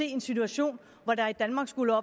en situation hvor der i danmark skulle